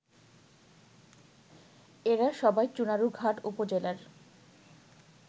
এরা সবাই চুনারুঘাট উপজেলার